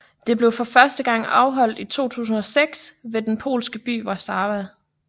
Det blev første gang afholdt i 2006 ved den polske by Warszawa